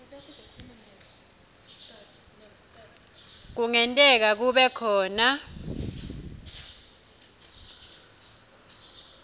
kungenteka kube khona